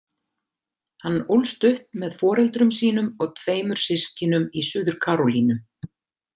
Hann ólst upp með foreldrum sínum og tveimur systkinum í Suður-Karólínu.